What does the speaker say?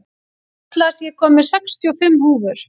Atlas, ég kom með sextíu og fimm húfur!